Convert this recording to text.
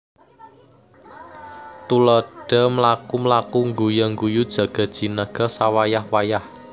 Tuladha mlaku mlaku ngguya ngguyu jaga jinaga sawayah wayah